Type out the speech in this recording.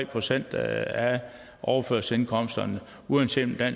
procent af overførselsindkomsterne uanset